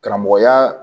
Karamɔgɔya